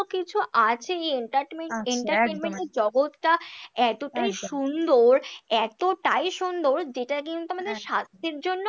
কিছু আছে এই entertainment এর জগৎটা এতটাই সুন্দর এতটাই সুন্দর যেটা কিন্তু আমাদের স্বাস্থ্যের জন্য